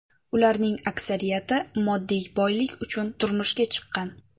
Ularning aksariyati moddiy boylik uchun turmushga chiqqan.